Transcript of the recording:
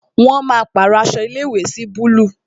Wọn máa pàrọ aṣọ ilé ìwé sí búlúù